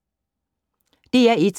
DR1